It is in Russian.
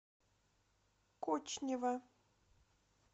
кочнева